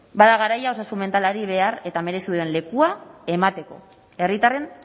bada garaia osasun mentalari behar eta merezi duen lekua emateko herritarren